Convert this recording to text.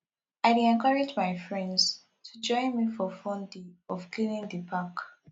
i dey encourage my friends to join me for fun day of cleaning di park